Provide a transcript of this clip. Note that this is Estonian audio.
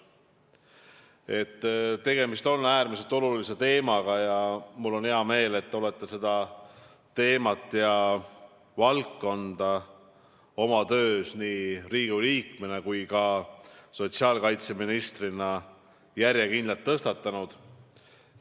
Tegemist on äärmiselt olulise teemaga ja mul on hea meel, et olete seda teemat ja valdkonda oma töös nii Riigikogu liikmena kui ka sotsiaalkaitseministrina järjekindlalt tõstatanud.